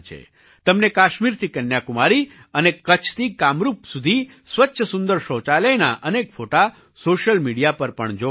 તમને કાશ્મીરથી કન્યાકુમારી અને કચ્છથી કામરૂપ સુધી સ્વચ્છ સુંદર શૌચાલયનાં અનેક ફોટા સૉશિયલ મિડિયા પર પણ જોવા મળશે